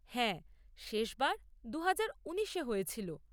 হ্যাঁ, শেষবার দুহাজার উনিশে হয়েছিল।